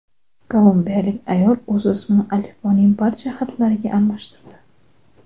Kolumbiyalik ayol o‘z ismini alifboning barcha harflariga almashtirdi.